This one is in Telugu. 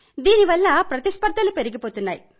ఇందుమూలంగా ప్రతిస్పర్థలు పెరిగిపోతున్నాయి